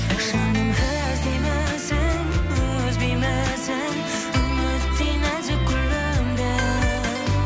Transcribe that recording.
жаным іздеймісің үзбеймісің үміттей нәзік гүліңді